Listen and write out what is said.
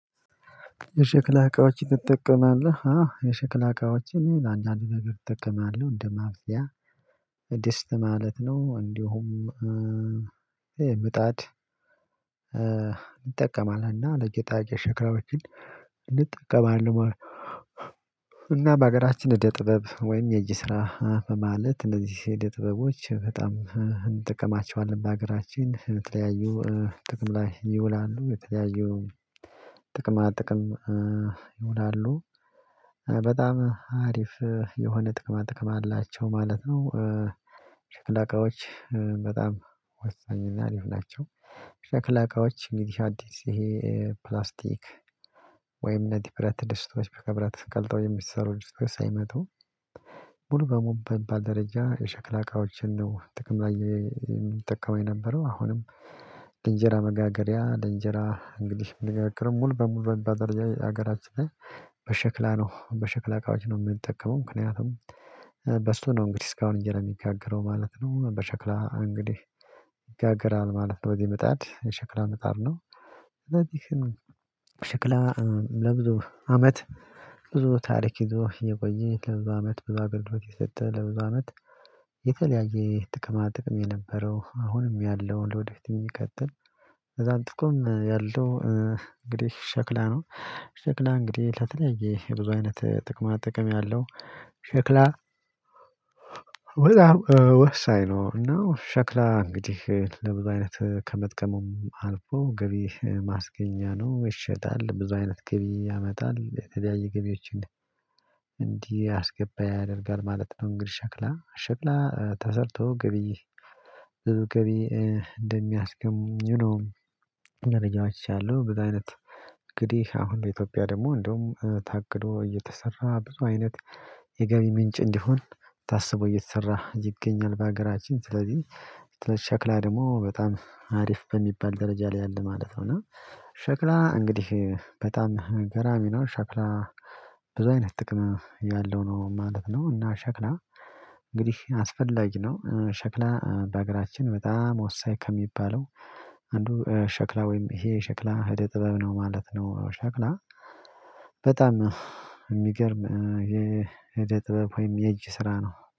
የሸክላ እቃዎች ትጠቀማለህ? አዎ የሸክላ እቃዎችን አንዳንድ ነገር አጠቀማለህ እንደ ማብሲያ ድስት ማለት ነው እንዲሁም ምጣድ እንጠቀማለን እና እንደ ጌጣጌ ሸክላዎችን እንጠቀማለን እና በሀገራችን እደ ጥበብ ወይም የእጅ ስራ በማለት እነዚህ አደ ጥበቦች በጣም እንጠቀማቹዋለን ሀገራችን የተለያዩ ጥቅም ላይ ይውላሉ የተለያዩ ጥቅማ ጥቅም ይዉላሉ። በጣም አሪፍ የሆነ ጥቅማ ጥቅም አላቸው ማለት ነው። ሸክላ እቃዎች በጣም ወሳኝ እና ሊሆን ናቸው። ሸክላ እቃዎች እንዲህ አዲስ ይሄ ፕላስቲክ ወይም እነዚህ ብረት ደስቶዎች በከብረት ቀልጠው የሚሰሩ ድስቶች ሳይመጡ ሙሉ በሙሉ በምባል ደረጃ የሸክላ እቃዎችን ነው ጥቅም ላይ የምትጠቀመው የነበረው አሁንም ለአንጄራ መጋገሪያ ለአንጄራ እንግዲህ የሚነጋገር ሙሉ በሙሉ በምባል ደረጃ ሀገራችን በሸክላ ነው በሸክላ እቃዎች ነው የምንጠቀመው ምክንያቱም በሱ ነው እንግዲህ እስካሁን እንጄራ የሚጋግረው ማለት ነው። በሸክላ እንግዲህ ይጋግራል ማለት ነው በዚህ መጣድ የሸክላ መጣድ ነው ስለዚህ ሽክላን ለብዙ አመት ብዙ ታሪክ ይዞ የቆየ ለብዙ አመት ብዙ አገልግሎት የሰጠ ለብዙ አመት የተለያየ የጥቅማ ጥቅም የነበረው አሁንም ያለውን ለወደፊት የሚቀጥል ከዛም ጥቁም ያለው እንግዲህ ሸክላ ነው። ሸክላ እንግዲህ ለተለያየ የብዙ አይነት ጥቅማ ጥቅም ያለው ሸክላ በጣም ወሳኝ ነው እና ሸክላ እንግዲህ ለብዙ አይነት ከመጥቀሙም አልፎ ገቢ ማስገኛ ነው ይሸጣል ብዙ አይነት ገቢ ያመጣል የተለያየ ገቢዎችን እንዲህ አስገባ ያደርጋል ማለት ነው። እንግዲህ ሸክላ ሸክላ ተሰርቶ ገቢ ዝብ ገቢ እንደሚያስቅምኝም ነው መረጃዎች ያሉ በዛ አይነት እንግዲህ አሁን በኢትዮጵያ ደግሞ እንደውም ታቅዶ እየተሰራ ብዙ አይነት የገቢ ምንጭ እንዲሆን ታስቦ እየተሰራ ይገኛል በሀገራችን ስለዚህ ሽክላ ደግሞ በጣም አሪፍ በሚባል ደረጃ ላይ ያለ ማለት ነው እና ሸክላ እንግዲህ በጣም ገራሚ ነው ሸክላ በዙ አይነት ጥቅም ያለው ነው ማለት ነው እና ሸክላ እንግዲህ አስፈላጊ ነው ሸክላ በአገራችን በጣም ወሳኝ ከሚባለው አንዱ ሸክላ ወይም ይሄ ሸክላ አደ ጥበብ ነው ማለት ነው ሸክላ በጣም የሚገርም የአደ ጥበብ ወይም የእጅ ስራ ነው።